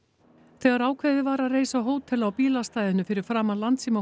þegar ákveðið var að reisa hótel á bílastæðinu fyrir framan